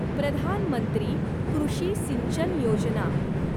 प्रधान मंत्री कृषी सिंचन योजना